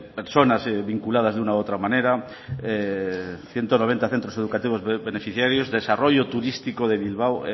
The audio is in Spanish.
personas vinculadas de una u otra manera ciento noventa centros educativos beneficiarios desarrollo turístico de bilbao